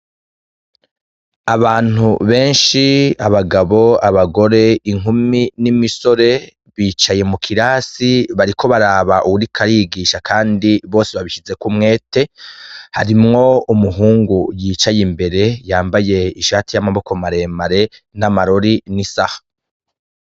Abantu benshi abagabo abagore inkumi n' imisore bicaye mu kirasi bariko baraba uwuriko arigisha kandi bose babishizeko umwete harimwo umuhungu yicaye imbere yambaye ishati y' amaboko mare mare n' amarori n' isaha.